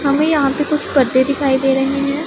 हमें यहां पे कुछ करते दिखाई दे रहे हैं।